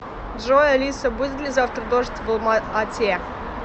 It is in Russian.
джой алиса будет ли завтра дождь в алма ате